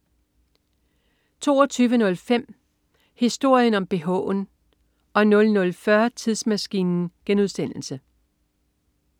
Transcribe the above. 22.05 Historien om bh'en 00.40 Tidsmaskinen*